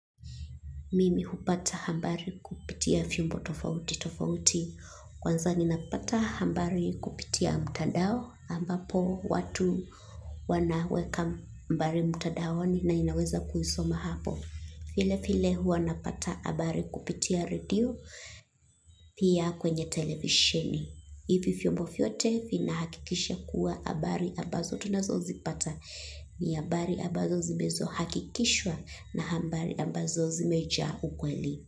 Mimi hupata habari kupitia vyombo tofauti tofauti. Kwanza ni napata hambari kupitia mtadao, ambapo watu wanaweka mbari mtandaoni na inaweza kuisoma hapo. File file, hua napata abari kupitia radio, pia, kwenye televisheni. Ivi fiumbo fiote, finahakikisha kuwa abari ambazo tunazo zipata, ni habari ambazo zimezo hakikishwa na hambari ambazo zimejaa ukweli.